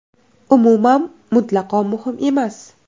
Umuman, mutlaqo muhim emas.